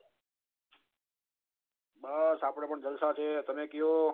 બસ આપડે પન જલસા તેમે કો